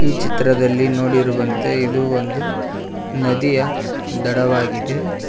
ಈ ಚಿತ್ರದಲ್ಲಿ ನೋಡಿರುವಂತೆ ಇದು ಒಂದು ನದಿಯ ದಡವಾಗಿದೆ.